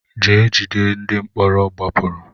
Gaa jide ndị mkpọrọ gbapụrụ!